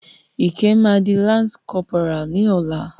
Ìkẹ́ máa di lance corporal ní ọ̀la.